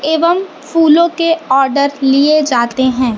एवं फूलों के आर्डर लिए जाते हैं।